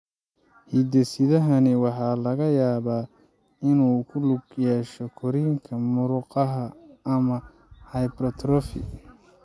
Hidde-sidahani waxa laga yaabaa inuu ku lug yeesho korriinka murqaha ama hypertrophy.